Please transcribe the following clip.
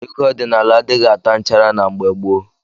Ego ọdinala adighi ata nchara na mgbe gbo